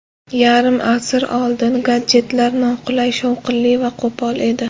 Yarim asr oldin gadjetlar noqulay, shovqinli va qo‘pol edi.